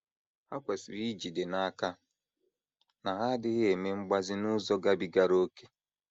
Ha kwesịrị ijide n’aka na ha adịghị eme mgbazi n’ụzọ gabigara ókè.